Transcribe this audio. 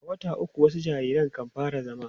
a wata ukwu wasu jariran kan fara zama